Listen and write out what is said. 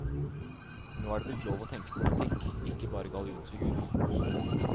Nå er det blitt lov å tenke politikk, ikke bare gallionsfigur.